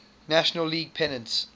national league pennants